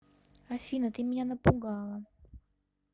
афина ты меня напугала